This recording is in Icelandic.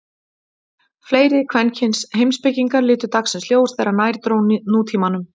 Fleiri kvenkyns heimspekingar litu dagsins ljós þegar nær dró nútímanum.